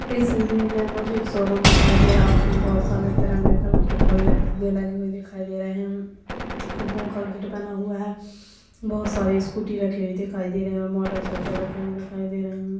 इस इमेज मे मुझे एक शोरूम दिखाई दे रहा उसमे बहुत सारे तिरंगे कलर के फले फुगे लगे हुए दिखाई दे रहे है गेट बना हुआ है बहुत सारे स्कूटी रखी हुई दिखाई दे रहे और मोटर साईकल रखी हुई दिखाई दे रही है।